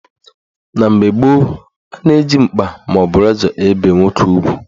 Na mgbe gboo, a na-eji mkpa maọbụ razọ ebe nwoke ugwu.